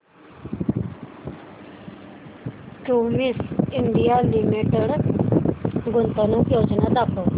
Cummins India limited गुंतवणूक योजना दाखव